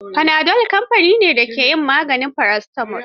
Panadol kamfani ne da ke yin maganin paracetamol.